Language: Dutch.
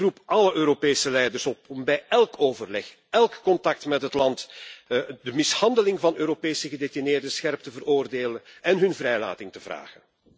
Ik roep alle Europese leiders op om bij élk overleg, élk contact met het land de mishandeling van Europese gedetineerden scherp te veroordelen en hun vrijlating te vragen.